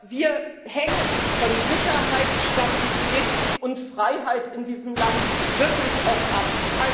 Wir hängen von Sicherheit, Stabilität und Freiheit in diesem Land wirklich auch ab.